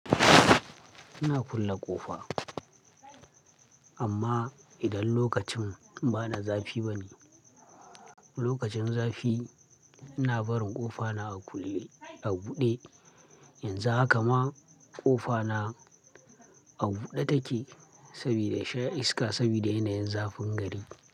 Ina kulle ƙofa, amma idan lokacin bana zafi bane. Lokacin zafi ina barin ƙofa na a kulle a buɗe. Yanzu haka ma ƙofa na a buɗe take saboda sha iska saboda yanayin zafin gari.